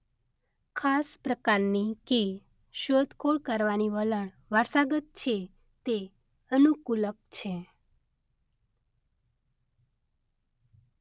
ખાસ પ્રકારની કે શોધખોળ કરવાનું વલણ વારસાગત છે- તે અનુકૂલક છે.